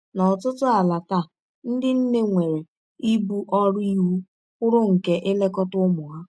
N’ọtụtụ ala taa, ndị nne nwere ibu ọrụ iwụ kwụrụ nke ilekọta ụmụ ha.